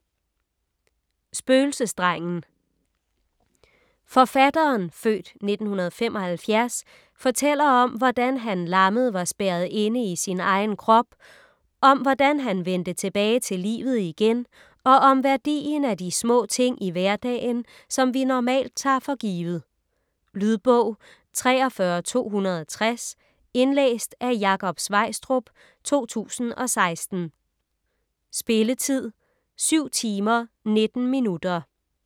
Spøgelsesdrengen Forfatteren (f. 1975) fortæller om, hvordan han lammet var spærret inde i sin egen krop, om hvordan han vendte tilbage til livet igen og om værdien af de små ting i hverdagen, som vi normalt tager for givet. Lydbog 43260 Indlæst af Jakob Sveistrup, 2016. Spilletid: 7 timer, 19 minutter.